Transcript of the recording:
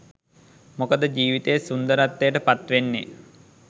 මොකද ජීවිතයේ සුන්දරත්වයට පත්වෙන්නෙ